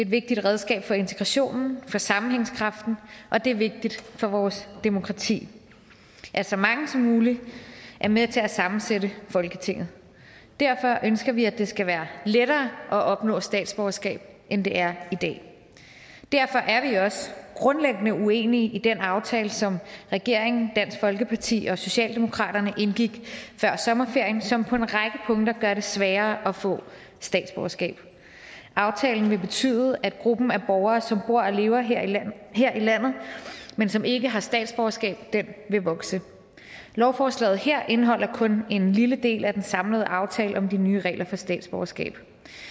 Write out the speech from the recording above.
vigtigt redskab for integrationen for sammenhængskraften og det er vigtigt for vores demokrati at så mange som muligt er med til at sammensætte folketinget derfor ønsker vi at det skal være lettere at opnå statsborgerskab end det er i dag derfor er vi også grundlæggende uenige i den aftale som regeringen dansk folkeparti og socialdemokratiet indgik før sommerferien og som på en række punkter gør det sværere at få statsborgerskab aftalen vil betyde at gruppen af borgere som bor og lever her i landet men som ikke har statsborgerskab vil vokse lovforslaget her indeholder kun en lille del af den samlede aftale om de nye regler for statsborgerskab